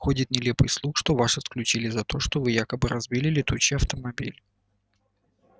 ходит нелепый слух что вас исключили за то что вы якобы разбили летучий автомобиль